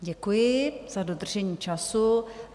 Děkuji za dodržení času.